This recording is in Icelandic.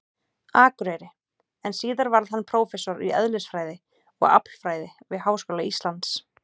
Akureyri, en síðar varð hann prófessor í eðlisfræði og aflfræði við Háskóla Íslands.